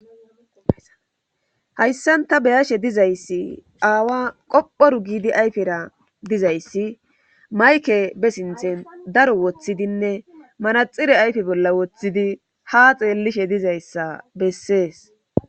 Hayssan ta beyashe dizayssi aawa qophoru giidi ayfera dizayssi mayke be sinthen daro woththidinne manaxire ayfe bolla woththidi ha xeellishe dizayssa bessees.